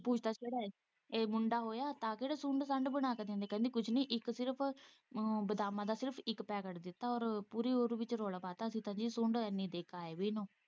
ਮੁੰਡਾ ਹੋਇਆ ਤਾਂ ਕਿਹੜਾ ਸੁੰਡ -ਸਾਂਡ ਬਣਾ ਕੇ ਦਿੰਦੀ ਕਹਿੰਦੀ ਕੁੱਝ ਨੀਂ ਇੱਕ ਸਿਰਫ਼ ਬਾਦਾਮਾਂ ਦਾ ਸਿਰਫ਼ ਇੱਕ ਪੈਕੇਟ ਦਿੱਤਾ ਔਰ ਪੂਰੀ ਉਹ ਦੀ ਵਿੱਚ ਰੋਲ਼ਾ ਪਾ ਤਾਂ ਅਸੀਂ ਤਾਂ ਜੀ ਇੰਨ੍ਹੀ ਸੁੰਡ ਦੇ ਕੇ ਆਏ ਵੀ ਇਹਨੂੰ।